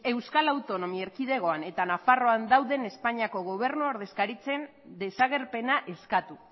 euskal autonomi erkidegoan eta nafarroan dauden espainiako gobernu ordezkaritzen desagerpena eskatu